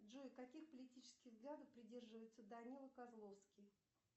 джой каких политических взглядов придерживается данила козловский